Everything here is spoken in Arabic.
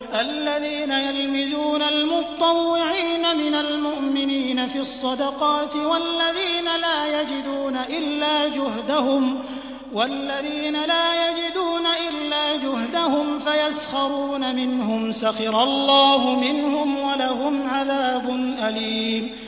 الَّذِينَ يَلْمِزُونَ الْمُطَّوِّعِينَ مِنَ الْمُؤْمِنِينَ فِي الصَّدَقَاتِ وَالَّذِينَ لَا يَجِدُونَ إِلَّا جُهْدَهُمْ فَيَسْخَرُونَ مِنْهُمْ ۙ سَخِرَ اللَّهُ مِنْهُمْ وَلَهُمْ عَذَابٌ أَلِيمٌ